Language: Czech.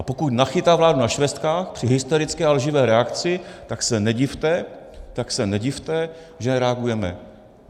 A pokud nachytá vládu na švestkách při hysterické a lživé reakci, tak se nedivte, tak se nedivte, že reagujeme.